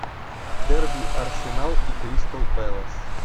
дерби арсенал и кристал пэлас